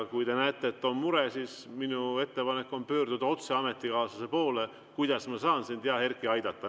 Kui te näete, et on mure, siis minu ettepanek on pöörduda otse ametikaaslase poole, et küsida, kuidas saaks sind, hea Erkki, aidata.